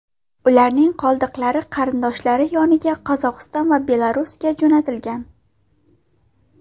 Ularning qoldiqlari qarindoshlari yoniga Qozog‘iston va Belarusga jo‘natilgan.